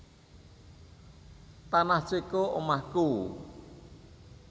Tanah Ceko omahku